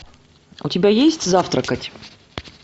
у тебя есть завтракать